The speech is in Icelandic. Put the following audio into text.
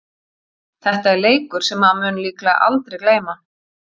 Þetta er leikur sem maður mun líklega aldrei gleyma.